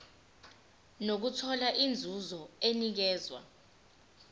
nokuthola inzuzo enikezwa